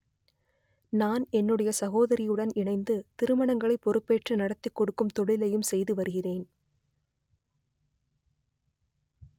நான் என்னுடைய சகோதரியுடன் இணைந்து திருமணங்களை பொறுப்பேற்று நடத்திக் கொடுக்கும் தொழிலையும் செய்து வருகிறேன்